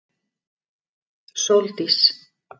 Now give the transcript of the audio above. Sóldís